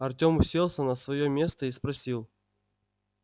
артём уселся на своё место и спросил